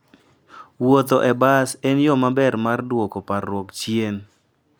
Wuoth e bas en yo maber mar duoko parruok chien.